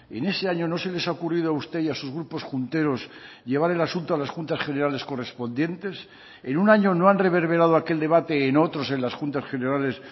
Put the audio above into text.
en ese año no se les ha ocurrido a usted y a sus grupos junteros llevar el asunto a las juntas generales correspondientes en un año no han reverberado aquel debate en otros en las juntas generales